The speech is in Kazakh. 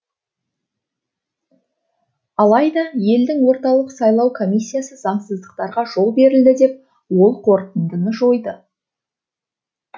алайда елдің орталық сайлау комиссиясы заңсыздықтарға жол берілді деп ол қорытындыны жойды